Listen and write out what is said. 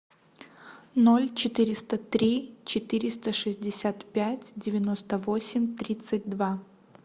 ноль четыреста три четыреста шестьдесят пять девяносто восемь тридцать два